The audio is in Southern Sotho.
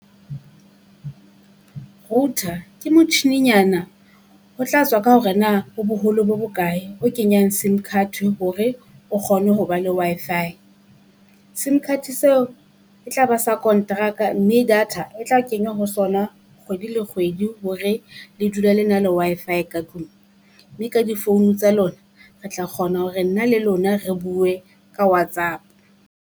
Router ke motjhininyana ho tla tswa ka hore na o boholo bo bokae, o kenyang simcard hore o kgone ho ba le Wi-Fi. Sim card seo e tla ba sa kontraka mme data e tla kenywa ho sona kgwedi le kgwedi hore le dule le na le Wi-Fi ka tlung. Mme ka di phone tsa lona, re tla kgona hore nna le lona re bue ka Whatsapp.